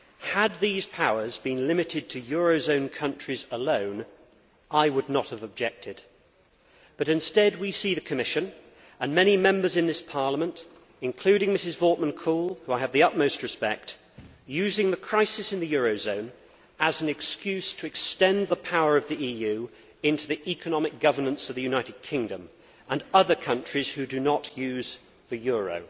Had these powers been limited to euro zone countries alone, I would not have objected, but instead we see the Commission and many Members in this Parliament including Ms Wortmann Kool, for whom I have the utmost respect using the crisis in the euro zone as an excuse to extend the power of the EU into the economic governance of the United Kingdom and other countries who do not use the euro.